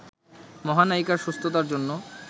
মহানায়িকার সুস্থতার জন্য